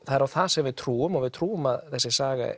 það er á það sem við trúum og við trúum að þessi saga